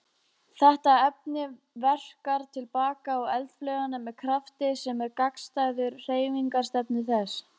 Þetta efni verkar til baka á eldflaugina með krafti sem er gagnstæður hreyfingarstefnu þess.